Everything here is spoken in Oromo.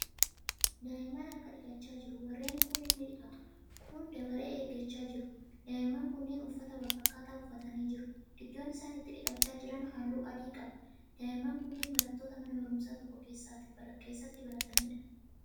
Daa'imman harka dhiqachaa jiru. warreen kuun ni dhiqatu kuun dabaree eeggachaa jiru. daa'imman kunniin uffata walfakkaataa uffatanii jiru. iddoon isaan itti dhiqachaa jiran halluu adii qaba. daa'imman kunniin barattoota mana barumsaa tokko keessatti barataniidha